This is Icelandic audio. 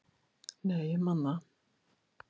Nei, ég man það.